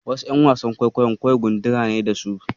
Wasu ƴan wasan kwaikwayon kawai gundura ce da su.